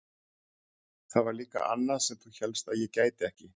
Það var líka annað sem þú hélst að ég gæti ekki.